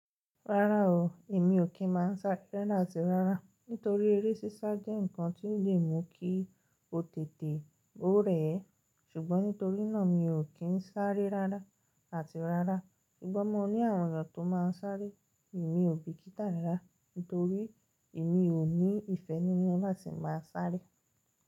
Rárá o, èmi ò kí ń máa sáré rárá àti rárá. Nítorí eré sísá jẹ́ ǹnkan tí ó lè mú kí o tètè ó rẹ̀ ẹ́. Ṣùgbọ́n nítorí náà mi ò kí ń sáré rárá àti rárá. Sugbon mo ní àwọn èeyan tó máa ń sáré, èmi ò bì kí tà rarà. Nítorí èmi ò ní ìfẹ́ nínú láti máa sáré.